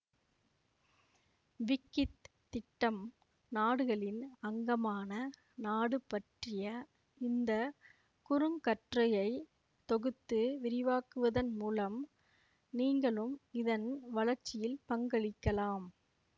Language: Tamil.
விக்கித் திட்டம் நாடுகளின் அங்கமான நாடு பற்றிய இந்த குறுங்கட்டுரையை தொகுத்து விரிவாக்குவதன் மூலம் நீங்களும் இதன் வளர்ச்சியில் பங்களிக்கலாம்